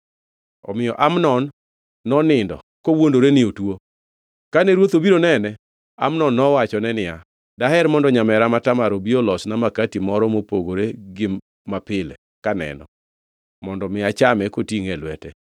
Omiyo Amnon nonindo kowuondore ni otuo. Kane ruoth obiro nene, Amnon nowachone niya, “Daher mondo nyamera ma Tamar obi olosna makati moro mopogore gi mapile kaneno, mondo mi achame kotingʼe e lwete.”